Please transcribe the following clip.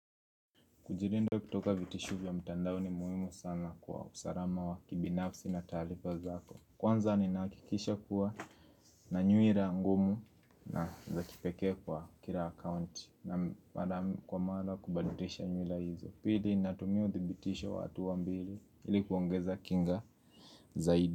Kujilinda kutoka vitisho vya mtandao ni muhimu sana kwa usalama wa kibinafsi na taarifa zako. Kwanza ninakikisha kuwa na nyuhira angumu na za kipeke kwa kila account. Na mara kwa mara kubadilisha nywila hizo. Pili natumia uthibitisho wa hatua mbili ilikuongeza kinga zaidi.